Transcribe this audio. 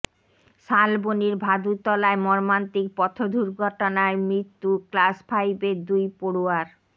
শালবনির ভাদুতলায় মর্মান্তিক পথদুর্ঘটনায় মৃত্যু ক্লাস ফাইভের দুই পড়ুয়ার